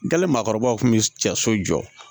Dali maakɔrɔbaw kun bɛ cɛ so jɔ